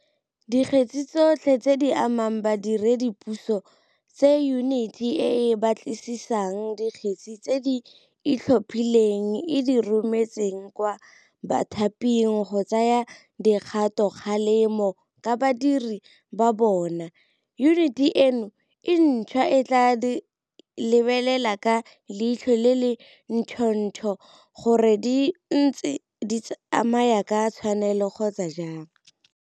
Dikgetse tsotlhe tse di amang badiredipuso tse Yuniti e e Batlisisang Dikgetse tse di Itlhophileng e di rometseng kwa bathaping go tsaya dikgatokgalemo ka badiredi ba bona, yuniti eno e ntšhwa e tla di lebelela ka leitlho le le ntšhotšho gore di ntse di tsamaya ka tshwanelo kgotsa jang.